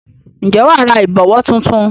Ǹjẹ́ wà á ra ìbọ̀wọ́ tuntun?